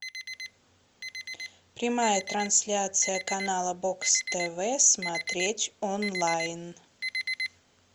прямая трансляция канала бокс тв смотреть онлайн